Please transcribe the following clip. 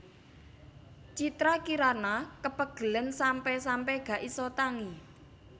Citra Kirana kepegelen sampe sampe gak iso tangi